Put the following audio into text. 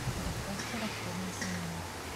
доставьте расходники в номер